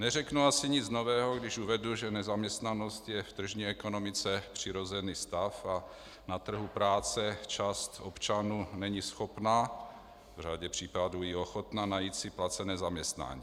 Neřeknu asi nic nového, když uvedu, že nezaměstnanost je v tržní ekonomice přirozený stav a na trhu práce část občanů není schopna, v řadě případů i ochotna najít si placené zaměstnání.